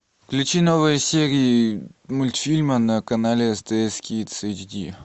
включи новые серии мультфильма на канале стс кидс эйчди